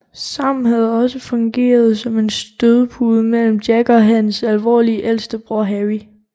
Sam havde også fungeret som en stødpude mellem Jack og hans alvorlige ældste bror Harry